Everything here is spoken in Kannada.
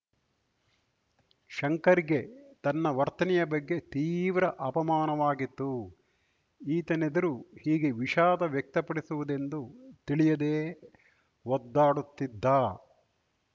ಶಂಕರ್‌ ಗೆ ತನ್ನ ವರ್ತನೆಯ ಬಗ್ಗೆ ತೀವ್ರ ಅಪಮಾನವಾಗಿತ್ತು ಈತನೆದುರು ಹೀಗೆ ವಿಷಾದ ವ್ಯಕ್ತಪಡಿಸುವುದೆಂದು ತಿಳಿಯದೆ ಒದ್ದಾಡುತ್ತಿದ್ದ